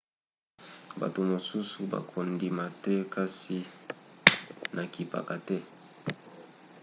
bato mosusu bakondima te kasi nakipaka te